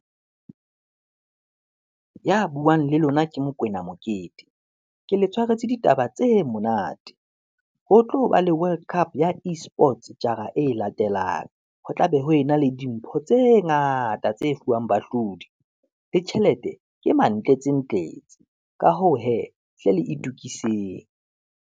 Ya buang le lona ke Mokwena Mokete, ke le tshwaretse ditaba tse monate. Ho tlo ba le world cup ya e-sports jara e latelang, ho tlabe ho ena le dimpho tse ngata tse fuwang bahlodi, le tjhelete ke mantlentse ntletse. Ka hoo hee, hle le itukiseng.